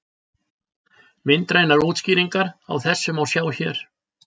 Myndrænar útskýringar á þessu má sjá hér.